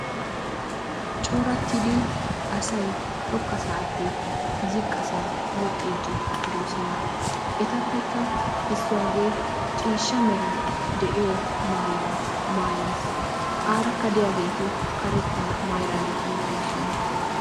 corattidi asay xoqqasaappe ziqqasaa woxxiiddi doosona. etappekka issuwagee ciishsha mera de'iyo mayuwa mayyis. aarakka diyageeti karettaa mayyidaageeti doosona.